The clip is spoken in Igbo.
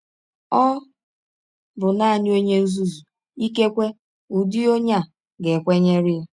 Ọ bụ nanị ọnye nzuzu — ikekwe ụdị ọnye a — ga - ekwenyere ya. ”